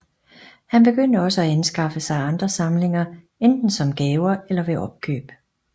Han begyndte også at anskaffe sig andre samlinger enten som gaver eller ved opkøb